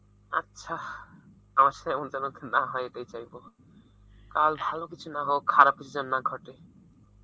আচ্ছা না হয় এইটাই চাইব, কাল ভালো কিছু না হোক, খারাপ কিছু যেন না ঘটে